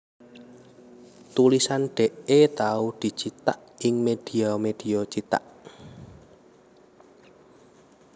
Tulisan Dee tau dicithak ing médhia médhia cithak